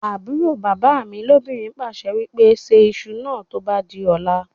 àbúrò bàbá mi lóbìnrin pàṣẹ wípé "Ṣe ìṣù náà tó bá di ọ̀la